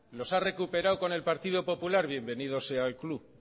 los ha recuperado con el partido popular bienvenido sea al club